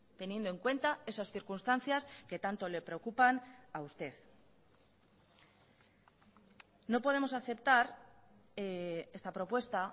teniendo en cuenta esas circunstancias que tanto le preocupan a usted no podemos aceptar esta propuesta